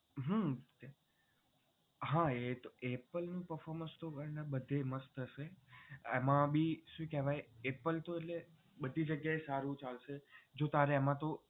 હા હા એ તો apple નું performance તો બધે મસ્ત હશે એમાં ભી શું કેહવાય apple તો બધી જગ્યા એ સારું ચાલશે તારે એમાં તો